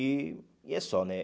E e é só, né?